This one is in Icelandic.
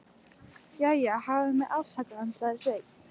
Jæja, hafðu mig afsakaðan, sagði Sveinn.